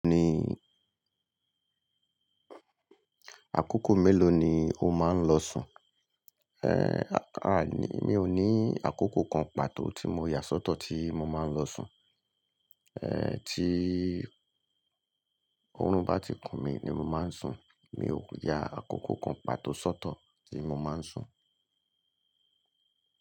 Ní, àkókò mélòó ni o máa ń lọ sùn? Eh, aàní, mi ò ní àkókò kan pàtó tí mo yà sọ́tọ̀ tí mo máa ń lọ sùn. Eh, tí òórùn bá ti kùn mí ni mo máa ń sùn. Mi ò ya àkókò kan pàtó sọ́tọ̀ tí mo máa ń sùn.